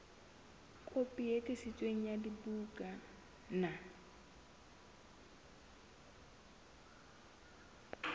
kopi e tiiseditsweng ya bukana